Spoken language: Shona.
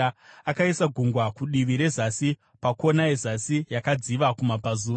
Akaisa Gungwa kudivi rezasi, pakona yezasi yakadziva kumabvazuva.